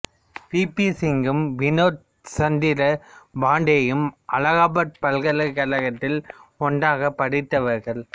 we P சிங்கும் வினோத் சந்திர பாண்டேயும் அலகாபாத் பல்கலைக்கழகத்தில் ஒன்றாகப் படித்தவர்கள்